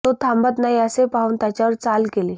तो थांबत नाही असे पाहून त्याच्यावर चाल केली